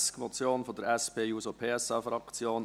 Traktandum 20, eine Motion der SP-JUSO-PSAFraktion: